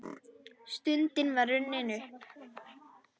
Stundin var runnin upp!